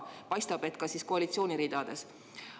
Paistab, et ka koalitsiooni ridades.